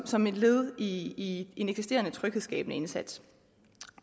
som et led i en eksisterende tryghedsskabende indsats